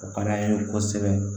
O ka d'an ye kosɛbɛ